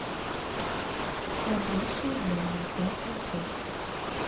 храбрейшие воины пятая часть